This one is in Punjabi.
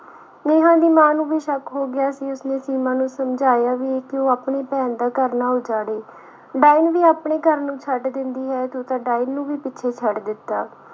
ਨੇਹਾਂ ਦੀ ਮਾਂ ਨੂੰ ਵੀ ਸ਼ੱਕ ਹੋ ਗਿਆ ਸੀ, ਉਸਨੇ ਸੀਮਾ ਨੂੰ ਸਮਝਾਇਆ ਵੀ ਕਿ ਉਹ ਆਪਣੀ ਭੈਣ ਦਾ ਘਰ ਨਾ ਉਜਾੜੇ ਡਾਇਣ ਵੀ ਆਪਣੇ ਘਰ ਨੂੰ ਛੱਡ ਦਿੰਦੀ ਹੈ ਤੂੰ ਤਾਂ ਡਾਇਣ ਨੂੰ ਵੀ ਪਿੱਛੇ ਛੱਡ ਦਿੱਤਾ।